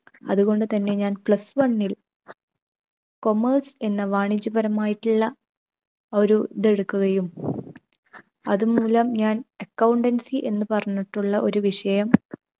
അതുകൊണ്ട് തന്നെ ഞാൻ plus one ൽ commerce എന്ന വാണിജ്യപരമായിട്ടുള്ള ഒരു ഇത് എടുക്കുകയും അത് മൂലം ഞാൻ accountancy എന്ന് പറഞ്ഞിട്ടുള്ള ഒരു വിഷയം